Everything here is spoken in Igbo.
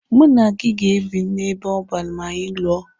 Mụ na gị ga-ebi n'ebe ọban ma anyị lụọ.